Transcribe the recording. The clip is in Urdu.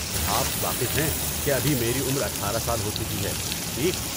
آپ واقف ہیں کہ ابھی میری عمر اٹھارہ سال ہو چکی ہے، ٹھیک؟